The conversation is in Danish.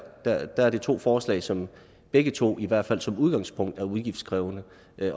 der er det to forslag som begge to i hvert fald som udgangspunkt er udgiftskrævende